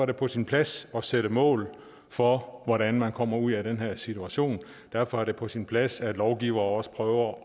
det på sin plads at sætte mål for hvordan man kommer ud af den her situation derfor er det på sin plads at lovgiver også prøver